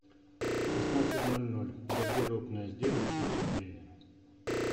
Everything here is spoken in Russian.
в шестнадцать ноль ноль гардеробная сделай чуть теплее